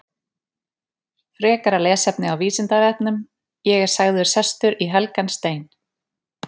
Frekara lesefni á Vísindavefnum: Ég er sagður sestur í helgan stein.